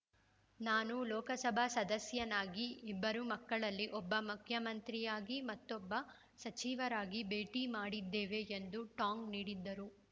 ನಾನು ಲೋಕಸಭಾ ಸದಸ್ಯನಾಗಿ ಇಬ್ಬರು ಮಕ್ಕಳಲ್ಲಿ ಒಬ್ಬ ಮಖ್ಯಮಂತ್ರಿ ಆಗಿ ಮತ್ತೊಬ್ಬ ಸಚಿವರಾಗಿ ಭೇಟಿ ಮಾಡಿದ್ದೇವೆ ಎಂದು ಟಾಂಗ್‌ ನೀಡಿದರು